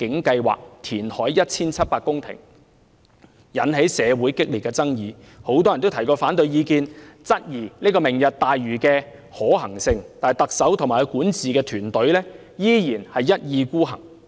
該計劃建議填海 1,700 公頃，引起社會激烈爭議，很多人提出了反對意見，質疑這項計劃的可行性，但特首及其管治團隊依然一意孤行。